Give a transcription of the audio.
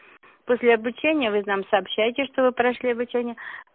после обучения в этом сообщаете что вы прошли обучение